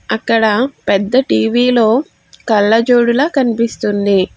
అక్కడ పెద్ద టీవీ లో కళ్ళజోడు లా కనిపిస్తుంది.